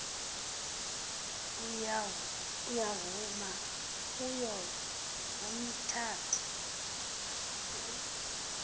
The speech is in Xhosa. uyavuma kuyo yomithathu